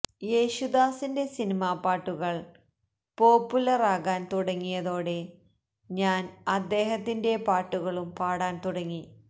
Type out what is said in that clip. യേശുദാസിന്റെ സിനിമാപ്പാട്ടുകള് പോപ്പുലറാകാന് തുടങ്ങിയതോടെ ഞാന് അദ്ദേഹത്തിന്റെ പാട്ടുകളും പാടാന് തുടങ്ങി